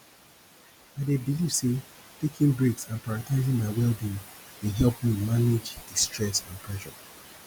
i dey believe say taking breaks and prioritizing my wellbeing dey help me manage di stress and pressure